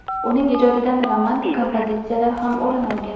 Uning ijodidan romantik kompozitsiyalar ham o‘rin olgan.